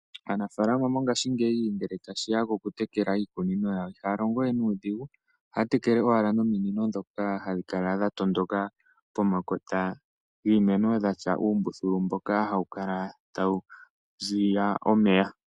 Anamapya ngashingeyi ngele tashi ya kokutekela iikunino yawo ihaya longo nuudhigu. Ohaya tekele owala nominino ndhoka hadhi kala dha pita pomakota giimeno ,wa tya uumbuthulu mboka hawu kala tawu ziya omeya.